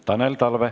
Tanel Talve.